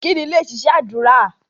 Ìkíni lẹ ṣiṣẹ́ ádùrá